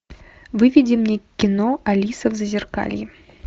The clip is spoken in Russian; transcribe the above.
выведи мне кино алиса в зазеркалье